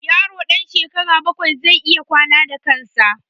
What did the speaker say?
Yaro ɗan shekara bakwai zai iya wanka da kan sa